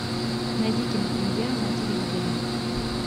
найди кинопремьеру на телевизоре